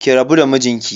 Ki rabu da mijinki.